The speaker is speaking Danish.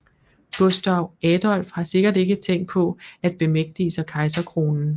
Gustav Adolf har sikkert ikke tænkt på at bemægtige sig kejserkronen